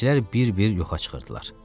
Zənçilər bir-bir yoxa çıxırdılar.